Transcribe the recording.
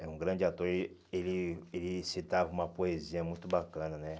Era um grande ator e ele ele citava uma poesia muito bacana, né?